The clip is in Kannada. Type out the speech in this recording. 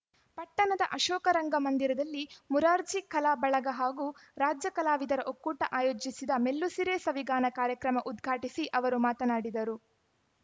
ಪಟ್ಟಣದ ಅಶೋಕ ರಂಗ ಮಂದಿರದಲ್ಲಿ ಮುರಾರ್ಜಿ ಕಲಾ ಬಳಗ ಹಾಗೂ ರಾಜ್ಯ ಕಲಾವಿದರ ಒಕ್ಕೂಟ ಆಯೋಜಿಸಿದ್ದ ಮೆಲ್ಲುಸಿರೆ ಸವಿಗಾನ ಕಾರ್ಯಕ್ರಮ ಉದ್ಘಾಟಿಸಿ ಅವರು ಮಾತನಾಡಿದರು